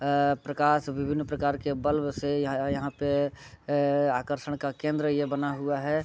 आ प्रकाश विभिन प्रकार के बल्ब से यहाँ पे आकर्षण का केंद्र ये बना हुआ है।